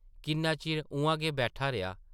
किन्ना चिर उʼआं गै बैठा रेहा ।